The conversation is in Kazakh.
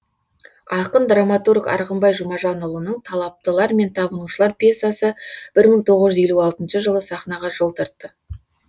ақын драматург арғынбай жұмажанұлының талаптылар мен табынушылар пьесасы бір мың тоғыз жүз елу алтыншы жылы сахнаға жол тартты